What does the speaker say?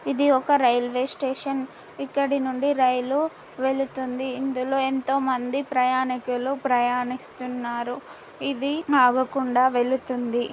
ఇది ఒక railway station ఇక్కడినుండి రైలు వెళుతుంది ఇందులో ఎంతో మంది ప్రయాణికులు ప్రయాణిస్తున్నారు. ఇది ఆగకుండా వెళుతుంది.